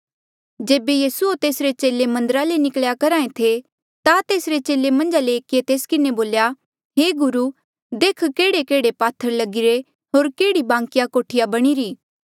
जेबे यीसू होर तेसरे चेले मन्दरा ले निकल्या करहा था ता तेसरे चेले मन्झा ले एकिये तेस किन्हें बोल्या हे गुरू देख केहड़ेकेहड़े पात्थर लगीरे होर केहड़ी बांकी कोठिया बणीरी